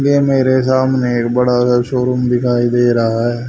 ये मेरे सामने एक बड़ा सा शोरूम दिखाई दे रहा हैं।